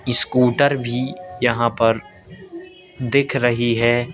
Scooter भी यहां पर दिख रही है।